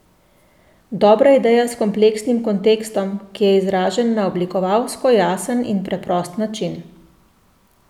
Dobra ideja s kompleksnim kontekstom, ki je izražen na oblikovalsko jasen in preprost način.